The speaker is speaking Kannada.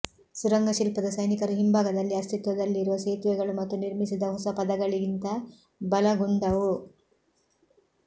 ಸುರಂಗ ಶಿಲ್ಪದ ಸೈನಿಕರು ಹಿಂಭಾಗದಲ್ಲಿ ಅಸ್ತಿತ್ವದಲ್ಲಿರುವ ಸೇತುವೆಗಳು ಮತ್ತು ನಿರ್ಮಿಸಿದ ಹೊಸ ಪದಗಳಿಗಿಂತ ಬಲಗೊಂಡವು